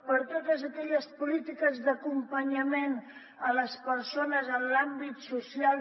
per totes aquelles polítiques d’acompanyament a les persones en l’àmbit social